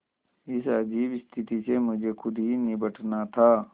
इस अजीब स्थिति से मुझे खुद ही निबटना था